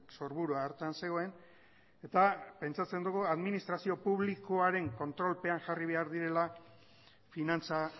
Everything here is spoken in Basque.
sorburua hartan zegoen eta pentsatzen dugu administrazio publikoaren kontrolpean jarri behar direla finantza